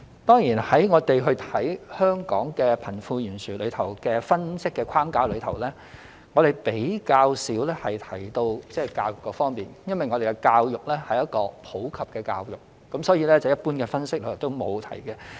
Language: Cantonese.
當然，我們在分析香港貧富懸殊的框架中，比較少提到教育方面，因為我們的教育是普及教育，所以一般分析也沒有提及。